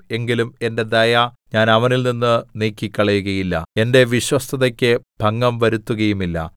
എങ്കിലും എന്റെ ദയ ഞാൻ അവനിൽ നിന്നു നീക്കിക്കളയുകയില്ല എന്റെ വിശ്വസ്തതയ്ക്ക് ഭംഗം വരുത്തുകയുമില്ല